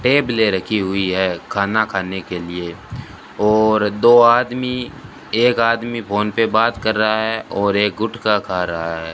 टेबलें रखी हुई है खाना खाने के लिए और दो आदमी एक आदमी फोन पे बात कर रहा है और एक गुटखा खा रहा है।